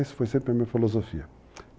Isso foi sempre a minha filosofia.